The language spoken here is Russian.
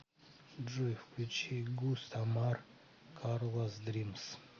джой включи густ амар карлас дримс